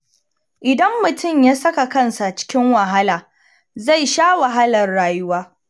Idan mutum ya saka kansa cikin wahala, zai sha wahalar rayuwa